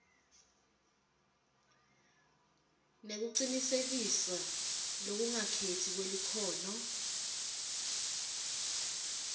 nekucinisekiswa lokungakhetsi kwelikhono